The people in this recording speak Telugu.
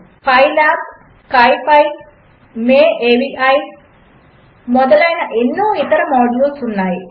పైలాబ్ స్కిపీ మాయావి మొదలైన ఎన్నో ఇతర మాడ్యూల్స్ ఉన్నాయి